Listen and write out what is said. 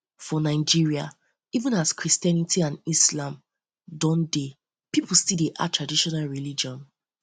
for nigeria even as christianity and islam don dey pipo still dey add traditional religion